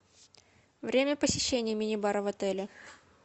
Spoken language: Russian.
время посещения минибара в отеле